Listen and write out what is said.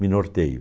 Me norteio.